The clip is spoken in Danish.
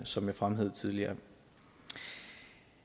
som jeg fremhævede tidligere